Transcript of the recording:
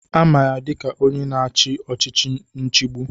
Ama ya dịka onye na-achị ọchịchị nchigbu.